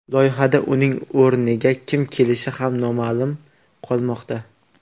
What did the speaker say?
Loyihada uning o‘rniga kim kelishi ham noma’lum qolmoqda.